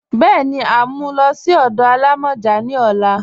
Bẹ́ẹni, à n mú ú lọ sí ọdọ àlàmọjá ní ọ̀là